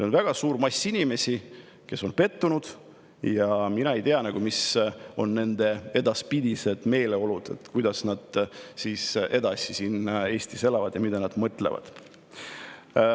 On väga suur mass inimesi, kes on pettunud, ja mina ei tea, mis on nende edaspidised meeleolud, kuidas nad siin Eestis edasi elavad ja mida nad mõtlevad.